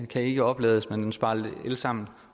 kan ikke oplades men den sparer el sammen